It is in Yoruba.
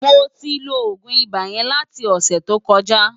Mó tin ló ógún ibá yèn láti osè to kòjá